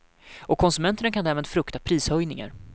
Och konsumenterna kan därmed frukta prishöjningar.